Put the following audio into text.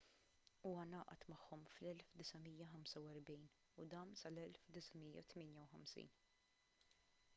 huwa ngħaqad magħhom fl-1945 u dam sal-1958